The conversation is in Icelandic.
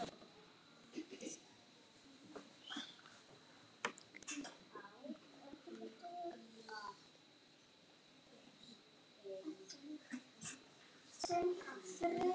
Bjössi lét verkin tala.